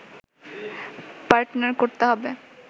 partner করতে হবে